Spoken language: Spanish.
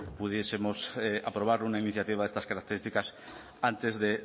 pudiesemos aprobar una iniciativa de estas características antes